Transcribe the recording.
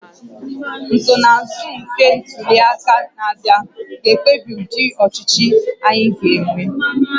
Nsonaazụ nke ntuli aka na-abịa ga-ekpebi ụdị ọchịchị anyị ga-enwe